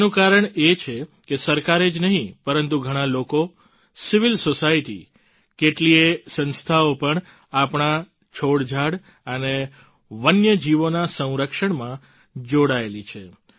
તેનું કારણ એ છે કે સરકારે જ નહીં પરંતુ ઘણાં લોકો સિવિલ સોસાયટી કેટલીયે સંસ્થાઓ પણ આપણા છોડઝાડ અને વન્યજીવોના સંરક્ષણમાં જોડાયેલી છે